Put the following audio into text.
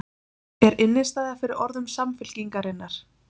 Er innistæða fyrir orðum Samfylkingarinnar?